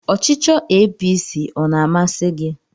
Ọchịchọ APC ọ na-amasi gị?